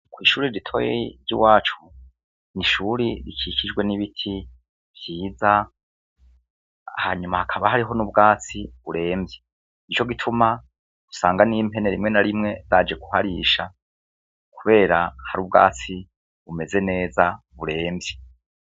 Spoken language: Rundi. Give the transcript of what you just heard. Kw'ishuri ritoyi ryiwacu n'ishuri rikikijwe n'ibiti vyiza hanyuma hakaba hari n'ubwatsi buremvye, nico gituma usanga n'impene rimwe n'arimwe zaje kuharisha kubera hari ubwatsi bumeze neza buremvye.